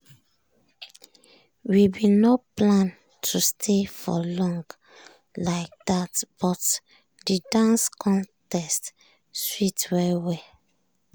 we been no plan to stay for long like that but the dance contest sweet well well.